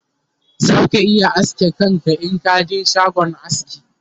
za ka iya aske kanka Inka je shagon aski